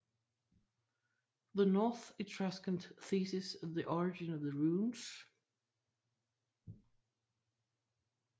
The North Etruscan thesis of the origin of the runes